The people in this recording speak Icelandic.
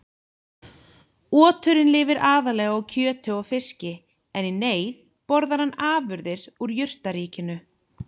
Oturinn lifir aðallega á kjöti og fiski en í neyð borðar hann afurðir úr jurtaríkinu.